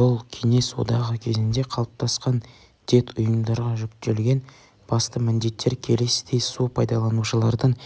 бұл кеңес одағы кезінде қалыптасқан дет ұйымдарға жүктелген басты міндеттер келесідей су пайдаланушылардың